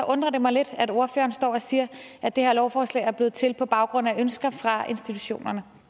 undrer det mig lidt at ordføreren står og siger at det her lovforslag er blevet til på baggrund af ønsker fra institutionerne